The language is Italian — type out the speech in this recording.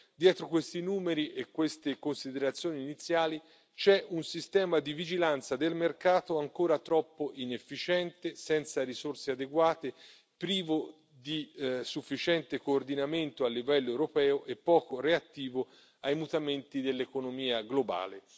Dietro questi numeri e queste considerazioni iniziali c'è un sistema di vigilanza del mercato ancora troppo inefficiente, senza risorse adeguate, privo di sufficiente coordinamento a livello europeo e poco reattivo ai mutamenti dell'economia globale.